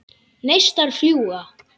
Neistar fljúga.